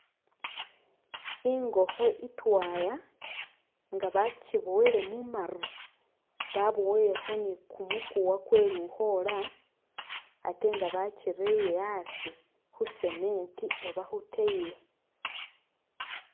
Ingokho itwaya nga bachibowele mumaru baboilekho ni'kumukuwa kwe lukhola ate nga bachireye asii khu'cement oba khu tile